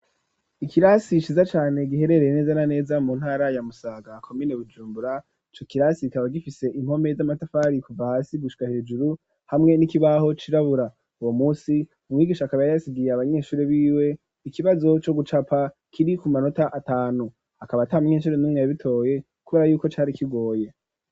ikirasi ciza cane, giherereye neza na neza mu ntara ya musaga ,komine Bujumbura,I co kirasi ikaba gifise impome z'amatafari kuva hasi gushika hejuru, hamwe n'ikibaho cirabura, uwo munsi umwigisha akaba yari yasigiye abanyeshuri b'iwe ,ikibazo co gucapa kiri ku manota atanu,, hakaba atamunyeshuri numw yabitoye kubera yuko cari kigoye.